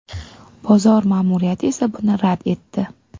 Bozor ma’muriyati esa buni rad etdi.